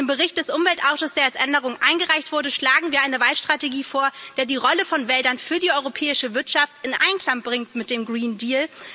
Mit dem Bericht des Umweltausschusses, der als Änderung eingereicht wurde, schlagen wir eine Waldstrategie vor, die die Rolle von Wäldern für die europäische Wirtschaft in Einklang bringt mit dem Green Deal.